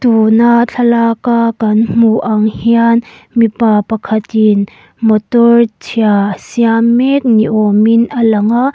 tuna thlalak a kan hmuh ang hian mipa pakhatin motor chhia a siam mek ni awm in alang a--